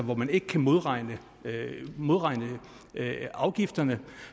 hvor man ikke kan modregne modregne afgifterne